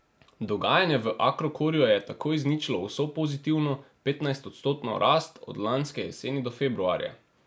Dogajanje v Agrokorju je tako izničilo vso pozitivno, petnajstodstotno rast od lanske jeseni do februarja.